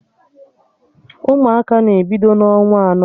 Ụmụaka na-ebido n'ọnwa anọ mebe mkpọtụ egwuregwu